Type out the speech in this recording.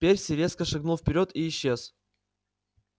перси резко шагнул вперёд и исчез